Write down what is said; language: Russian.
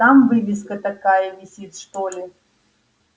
там вывеска такая висит что ли